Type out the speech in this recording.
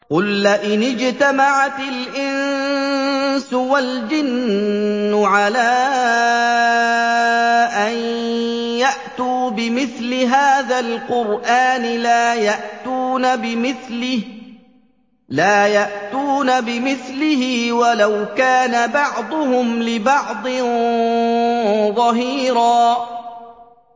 قُل لَّئِنِ اجْتَمَعَتِ الْإِنسُ وَالْجِنُّ عَلَىٰ أَن يَأْتُوا بِمِثْلِ هَٰذَا الْقُرْآنِ لَا يَأْتُونَ بِمِثْلِهِ وَلَوْ كَانَ بَعْضُهُمْ لِبَعْضٍ ظَهِيرًا